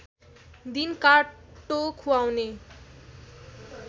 दिन काट्टो खुवाउने